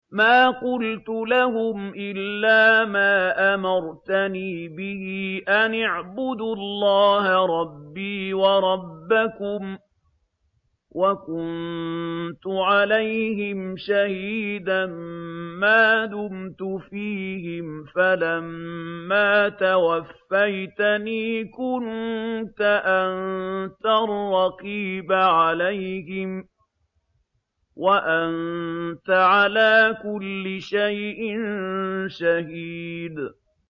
مَا قُلْتُ لَهُمْ إِلَّا مَا أَمَرْتَنِي بِهِ أَنِ اعْبُدُوا اللَّهَ رَبِّي وَرَبَّكُمْ ۚ وَكُنتُ عَلَيْهِمْ شَهِيدًا مَّا دُمْتُ فِيهِمْ ۖ فَلَمَّا تَوَفَّيْتَنِي كُنتَ أَنتَ الرَّقِيبَ عَلَيْهِمْ ۚ وَأَنتَ عَلَىٰ كُلِّ شَيْءٍ شَهِيدٌ